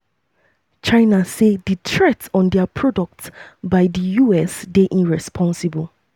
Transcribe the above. china say di threat on dia products by by di us dey irresponsible.